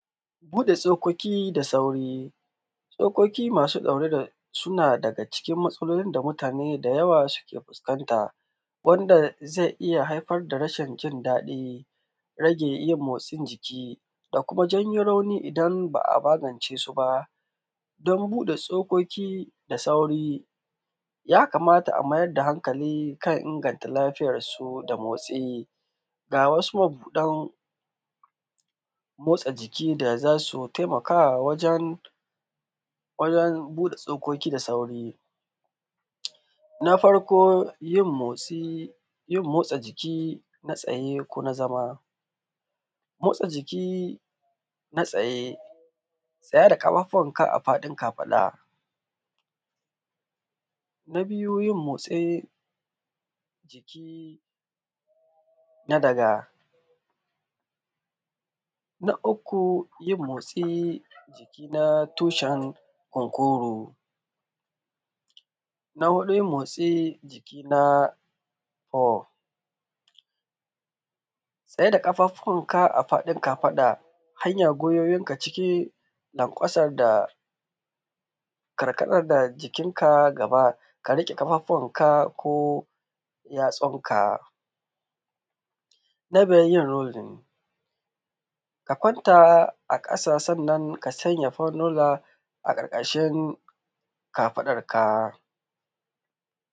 Buɗe tsokoki da sauri, tsokoki masu ɗaure da suna daga cikin matsalolin da mutane da yawa da ke fuskanta. Wanda zai iya haifar da rashin jin daɗi, rage yin motsin jiki da kuma janyon rauni idan ba a magance su ba. Don buɗe tsokiki da sauri yakamata a mai da hankali don inganta lafiyar su, da motsi. Ga wasu mabuɗan, motsa Jim da za su taimakawa wajen wajen buɗe tsokoki da sauri. Na farko yin motsi jin motsi jiki na tsaye ko na zama. Motsa jiki na tsaye tsaya da ƙafafuwanka a faɗin kafaɗa. Na biyu yin motsi jiki na daga. Na uku yin motsi jiki na tushen kunkuro. Na huɗu yin motsi jiki na ho, tsai da ƙafafuwanka a faɗin kafaɗa. Hanya gwuiwoyinka cikin lankwasan da ƙarƙadad da ƙarƙadad da jikinka gaba ka rike ƙafafunka ko yatsunka Na Biyar yin rolling ka kwanta a ƙasa, sannan ka sanya fululunna a ƙarƙashin kafaɗarka.